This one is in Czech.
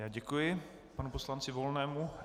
Já děkuji panu poslanci Volnému.